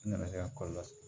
N nana se ka kɔlɔlɔ se